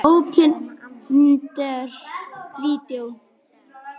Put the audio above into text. Opinber Vídeó